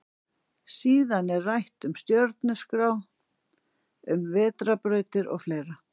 Síðan er rætt um stjörnuskrá, um vetrarbrautina og fleira.